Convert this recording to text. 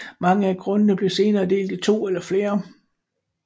Mange af grundene blev senere delt i 2 eller flere